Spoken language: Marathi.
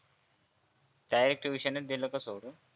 डायरेक्ट ट्युशनच दिल का सोडून